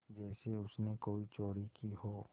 जैसे उसने कोई चोरी की हो